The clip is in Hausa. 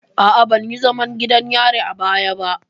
A'a, ban yi zaman gidan yari a baya ba.